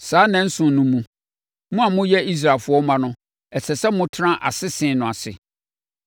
Saa nnanson no mu, mo a moyɛ Israelfoɔ mma no, ɛsɛ sɛ motena asese no ase.